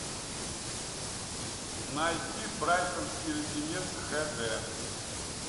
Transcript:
найти брайтонский леденец хд